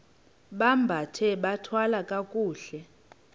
bambathe bathwale kakuhle